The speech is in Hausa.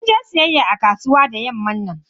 Sun je siyayya a kasuwa da yamman nan.